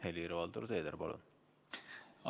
Helir-Valdor Seeder, palun!